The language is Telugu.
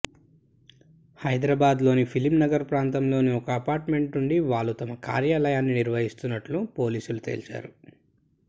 హైదరాబాద్లోని ఫిలింనగర్ ప్రాంతంలోని ఒక అపార్ట్మెంట్ నుండి వాళ్లు తమ కార్యాలయాన్ని నిర్వహిస్తున్నట్లు పోలీసులు తేల్చారు